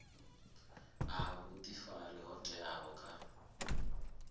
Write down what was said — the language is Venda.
a vhuifari ho teaho kha